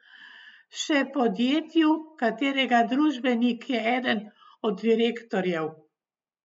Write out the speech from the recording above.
Še podjetju, katerega družbenik je eden od direktorjev?